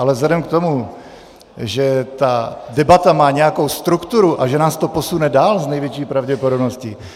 Ale vzhledem k tomu, že ta debata má nějakou strukturu a že nás to posune dál s největší pravděpodobností -